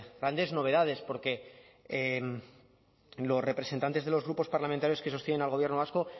grandes novedades porque los representantes de los grupos parlamentarios que sostienen al gobierno vasco